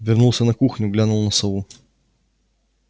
вернулся на кухню глянул на сову